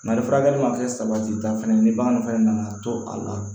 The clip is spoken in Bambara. Mali furakɛli ma kɛ sabatita fana ye ni bagan fɛnɛ nana to a la